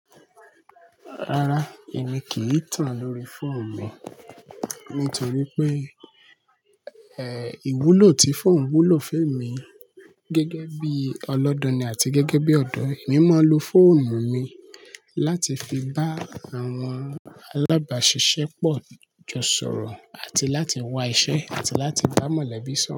Rárá, èmi kì í tàn lórí fóònù mi nítorí pé, ẹ́, ìwúlò ti fóònù wúlò fún èmi gẹ́gẹ́ bí ọlọ́danni àti gẹ́gẹ́ bí ọ̀dọ́ e. Èmi máa ń lo fóònù mi láti fi bá àwọn alábàáṣiṣẹ́pọ̀ jọ sọ̀rọ̀ àti láti wá iṣẹ́ àti láti bá mọ̀lẹ́bí sọ̀rọ̀